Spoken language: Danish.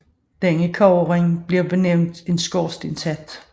Denne kobberring blev benævnt en skorstenshat